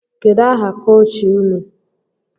Kedu aha kọchị ụnụ?